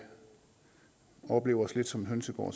oplever os lidt som en hønsegård